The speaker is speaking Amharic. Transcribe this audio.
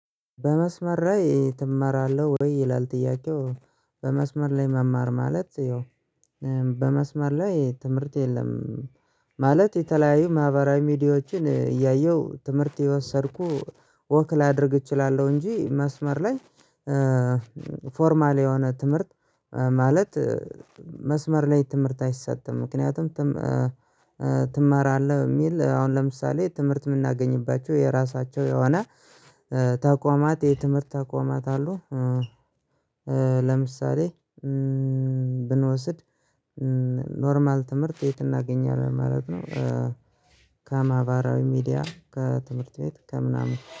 በመስመር ላይ ትማራለህ ወይ ይላል ጥያቄው? በመስመር ላይ መማር ማለት ያው በመስመር ላይ ትምርት የለም። ማለት የተለያዩ ማህበራዊ ሚዲያዎችን እያየው ትምርት የወሰድኩ ወክ ላደርግ እችላለው እንጂ መስመር ላይ። ፎርማል የሆነ ትምርት ማለት መስመር ላይ ትምርት አይሰጥም ምክንያቱም። ትማራለህ ሚል አሁን ለምሳሌ ትምርት ምናገኝባቸው የራሳቸው የሆነ ተቋማት የትምርት ተቋማት አሉ። ለምሳሌ ብንወስድ ኖርማል ትምርት የት እናገኛለን ማለት ነው። ከማበራዊ ሚዲያ ከትምርት ቤት ከምናምን